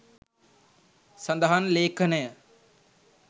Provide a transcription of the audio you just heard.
සඳහන් ලේඛනය